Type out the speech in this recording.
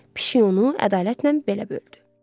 Pişik onu ədalətlə belə böldü.